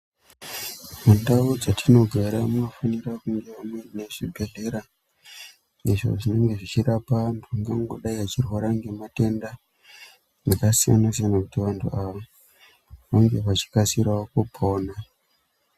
Mundau dzetinogara munofanirwa kunge muine zvibhedhlera izvo zvinorape antu angangodayi vachirwara ngematenda akasiyana siyana kuti vanhu ava vange vachikasirawo kupona.